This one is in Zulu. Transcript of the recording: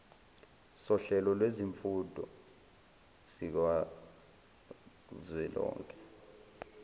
sohlelo lwezifundo sikazwelonke